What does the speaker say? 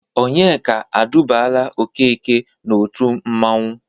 Ònyeka edubaala Okeke n'otu mmanwụ.